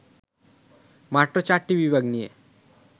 মাত্র চারটি বিভাগ নিয়ে